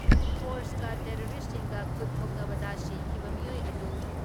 ꯐꯣꯔꯁꯀ ꯇꯦꯔꯣꯔꯤꯁꯁꯤꯡꯒ ꯈꯨꯠ ꯊꯣꯛꯅꯕꯗ ꯁꯤꯈꯤꯕ ꯃꯤꯑꯣꯏ ꯑꯗꯨ